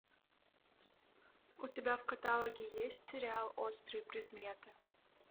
у тебя в каталоге есть сериал острые предметы